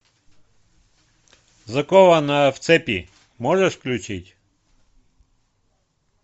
закованная в цепи можешь включить